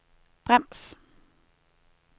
brems